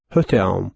Höt ham.